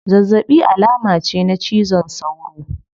Zazzabi alama ce na cizon sauro